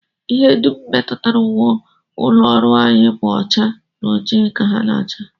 Ihe dum metụtara uwe ụlọọrụ anyị bụ ọcha na ojii ka ha na-acha